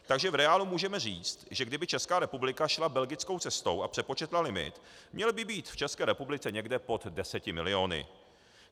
Takže v reálu můžeme říct, že kdyby Česká republika šla belgickou cestou a přepočetla limit, měl by být v České republice někde pod deseti miliony.